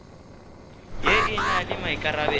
ye e na le maikarabelo